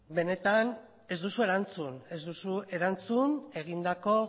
benetan ez duzu erantzun ez duzu erantzun egindako